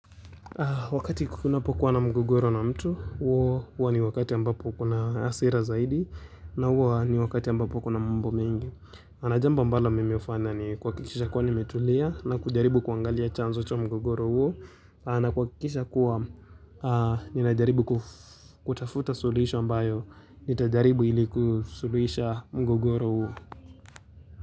Wakati kunapo kuwa na mgogoro na mtu, huwa ni wakati ambapo kuna hasira zaidi na huwa ni wakati ambapo kuna mambo mengi. Na jambo ambalo mimi hufanya ni kuhakikisha kuwa nimetulia na kujaribu kuangalia chanzo cha mgogoro huo na kuhakikisha kuwa ninajaribu kutafuta suluhisho ambayo nitajaribu ili kusuluisha mgogoro huo.